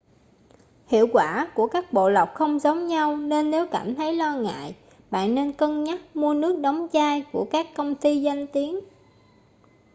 hiệu quả của các bộ lọc không giống nhau nên nếu cảm thấy lo ngại bạn nên cân nhắc mua nước đóng chai của các công ty danh tiếng